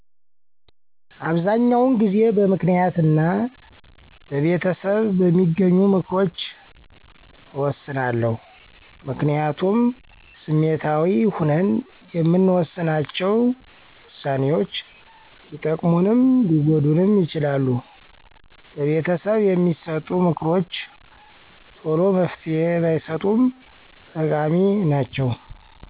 አበሰዛኛዉን ጊዜበምክንያት እና በቤተሰብበሚገኙምክሮች እወስናለሁ። ምክንያቱም ስሜታዊ ሁነን የምንወሥናቸ ውሳኔዎች ሊጠቅሙንም ሊጎዱንም ይችላሉ። በቤተሰብ የሚሠጡ ምክሮችተሎመፍትሄ ባይሠጡም ጠቃሚ ናቸዉ።